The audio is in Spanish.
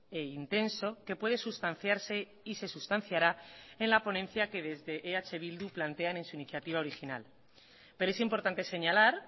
e intenso que puede sustanciarse y se sustanciará en la ponencia que desde eh bildu plantean en su iniciativa original pero es importante señalar